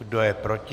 Kdo je proti?